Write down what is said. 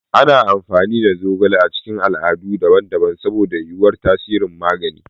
Ana amfani da zogale a cikin al'adu daban-daban saboda yuwuwar tasirin magani.